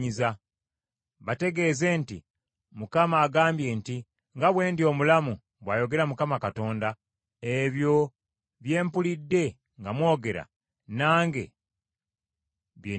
Bategeeze nti, ‘ Mukama agambye nti, Nga bwe ndi omulamu, bw’ayogera Mukama Katonda, ebyo bye mpulidde nga mwogera, nange bye ndibakola.